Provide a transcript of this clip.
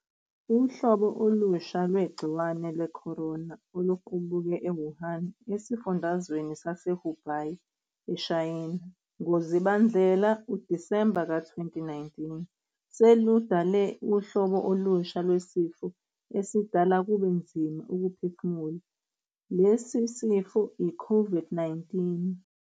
Uhlobo olusha lwegciwane lwekhorona oluquuke e-Wuhan, esifundazweni sase-Hubei, eShayina ngoZibandlela, Disemba, ka-2019 seludale uhlobo olusha lwesifo esidala kube nzima ukuphefumula lesi sifo i-COVID-19.